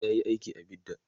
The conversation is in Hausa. yayi aiki a bidda